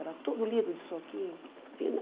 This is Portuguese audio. Era tudo lido de soquinho. E